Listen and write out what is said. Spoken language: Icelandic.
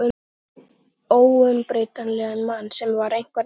Einhvern óumbreytanlegan mann sem var einhvern veginn.